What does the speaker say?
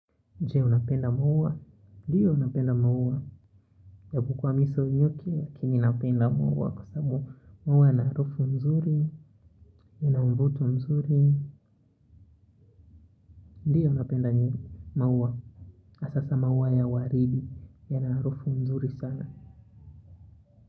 Je unapenda maua? Ndiyo napenda maua. Yabukwa miso nyuki ya kini napenda maua kwa sabu maua na harofu mzuri, ya na mvutu mzuri. Ndiyo napenda ni maua. Sasa maua ya waridi yana harufu mzuri sana.